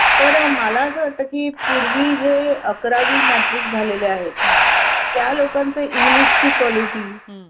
अं ठीके madam पण तुम्ही आत्ता बोलताना म्हणालात मगाशी कि अं pharmacy bills included असतात मग आता असं का म्हणालात कि medical bill वेगळे करायला लागतील